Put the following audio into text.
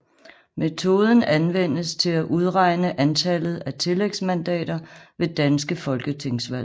Metoden anvendes til at udregne antallet af tillægsmandater ved danske folketingsvalg